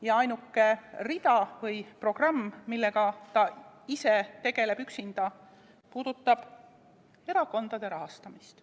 Ja ainuke rida või programm, millega ta ise tegeleb, üksinda, puudutab erakondade rahastamist.